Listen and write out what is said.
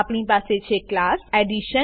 આપણી પાસે છે ક્લાસ એડિશન